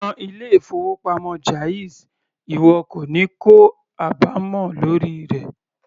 Yan ilé-ìfowópamọ́ jáàzì ìwọ kò ní kó àbámọ̀ lórí rẹ̀.